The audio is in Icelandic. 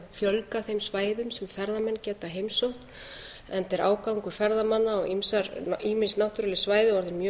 fjölga þeim svæðum sem ferðamenn geta heimsótt enda er ágangur ferðamanna á ýmis náttúruleg svæði orðinn mjög